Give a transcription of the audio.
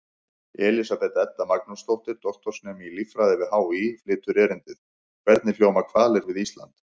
Elísabet Edda Magnúsdóttir, doktorsnemi í líffræði við HÍ, flytur erindið: Hvernig hljóma hvalir við Ísland?